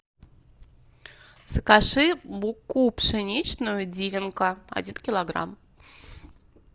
закажи муку пшеничную дивенка один килограмм